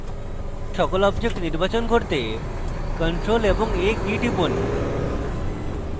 canvas সকল objects নির্বাচন করতে ctrl + a কীস টিপুন